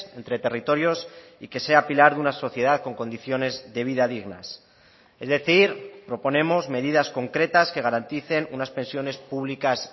entre territorios y que sea pilar de una sociedad con condiciones de vida dignas es decir proponemos medidas concretas que garanticen unas pensiones públicas